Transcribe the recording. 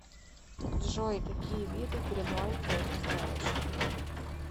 джой какие виды гринландия ты знаешь